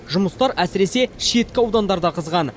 жұмыстар әсіресе шеткі аудандарда қызған